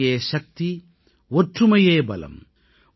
ஒற்றுமையே சக்தி ஒற்றுமையே பலம்